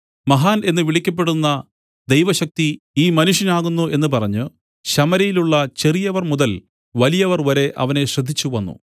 മഹാൻ എന്ന് വിളിക്കപ്പെടുന്ന ദൈവശക്തി ഈ മനുഷ്യനാകുന്നു എന്ന് പറഞ്ഞ് ശമര്യയിലുള്ള ചെറിയവർ മുതൽ വലിയവർ വരെ അവനെ ശ്രദ്ധിച്ചുവന്നു